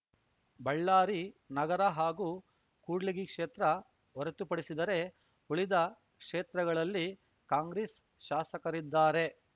ಬಳ್ಳಾರಿ ನಗರ ಹಾಗೂ ಕೂಡ್ಲಿಗಿ ಕ್ಷೇತ್ರ ಹೊರತುಪಡಿಸಿದರೆ ಉಳಿದ ಕ್ಷೇತ್ರಗಳಲ್ಲಿ ಕಾಂಗ್ರೆಸ್‌ ಶಾಸಕರಿದ್ದಾರೆ